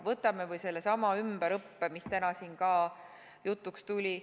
Võtame või sellesama ümberõppe, mis täna siin ka jutuks tuli.